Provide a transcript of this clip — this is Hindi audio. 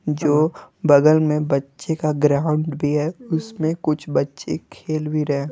जो बगल में बच्चे का ग्राउंड भी है उसमें कुछ बच्चे खेल भी रहे ।